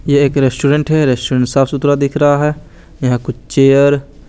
ये एक रेस्टोरेंट है रेस्टोरेंट साफ़ सुथरा दिखरा है यहा कुछ चेयर --